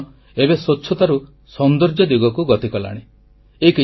ଏହି ଆନ୍ଦୋଳନ ଏବେ ସ୍ୱଚ୍ଛତାରୁ ସୌନ୍ଦର୍ଯ୍ୟ ଦିଗକୁ ଗତି କଲାଣି